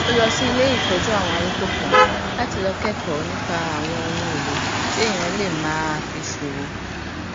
ó lọ sí ilé ìtójú àwọn arúgbó kan láti lọ kékòó nípa àwọn ohunèlò tí èèyàn lè máa fi ṣòwò